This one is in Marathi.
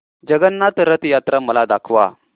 जगन्नाथ रथ यात्रा मला दाखवा